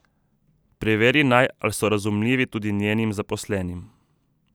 Preveri naj, ali so razumljivi tudi njenim zaposlenim.